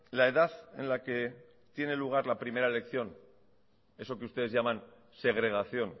la edad en la que tiene lugar la primera elección eso que ustedes llaman segregación